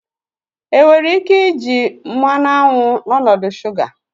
Enwere ike iji mmanụ aṅụ n'ọnọdụ shuga?